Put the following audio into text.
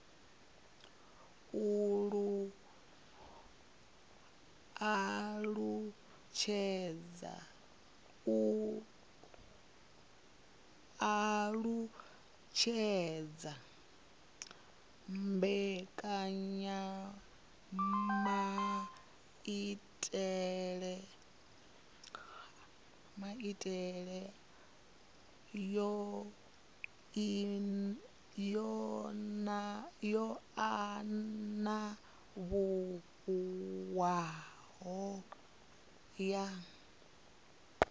alutshedza mbekanyamaitele yo anavhuwaho ya